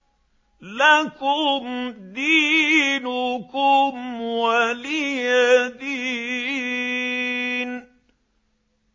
لَكُمْ دِينُكُمْ وَلِيَ دِينِ